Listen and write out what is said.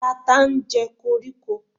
tata ten je okoriko